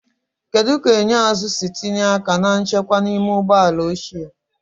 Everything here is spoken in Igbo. Kedu ka enyo azụ si tinye aka na nchekwa n'ime ụgbọ ala ochie?